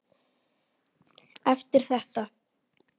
Eftir þetta.